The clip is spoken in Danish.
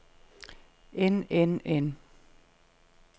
end end end